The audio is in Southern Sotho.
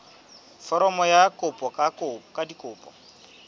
foromo ya kopo ka dikopi